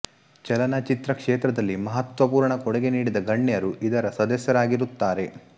ಚಲನಚಿತ್ರ ಕ್ಷೇತ್ರದಲ್ಲಿ ಮಹತ್ತ್ವಪುರ್ಣ ಕೊಡುಗೆ ನೀಡಿದ ಗಣ್ಯರು ಇದರ ಸದಸ್ಯರಾಗಿರುತ್ತಾರೆ